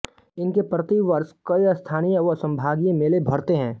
इनके प्रतिवर्ष कई स्थानीय व संभागीय मेले भरते हैं